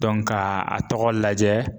Dɔnku ka a tɔgɔ lajɛ